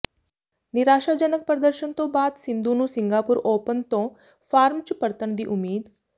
ਨਿਰਾਸ਼ਾਜਨਕ ਪ੍ਰਦਰਸ਼ਨ ਤੋਂ ਬਾਅਦ ਸਿੰਧੂ ਨੂੰ ਸਿੰਗਾਪੁਰ ਓਪਨ ਤੋਂ ਫਾਰਮ ਚ ਪਰਤਣ ਦੀ ਉਮੀਦ